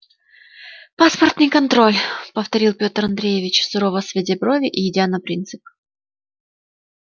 паспортный контроль повторил петр андреевич сурово сводя брови и идя на принцип